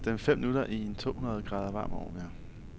Sæt dem fem minutter i en tohundrede grader varm ovn.